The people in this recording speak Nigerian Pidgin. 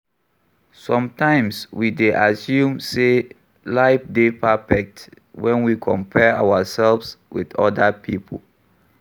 Sometimes we dey assume sey life dey perfect when we compare ourselves with oda pipo